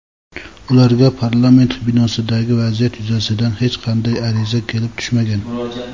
ularga parlament binosidagi vaziyat yuzasidan hech qanday ariza kelib tushmagan.